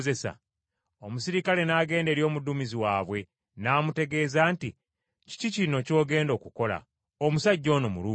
Omuserikale n’agenda eri omuduumizi waabwe n’amutegeeza nti, “Kiki kino ky’ogenda okukola? Omusajja ono Muruumi.”